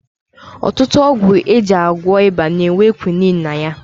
Ọtụtụ ọgwụ e ji agwọ ịba na-enwe kwinin ma ya